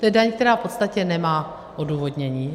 To je daň, která v podstatě nemá odůvodnění.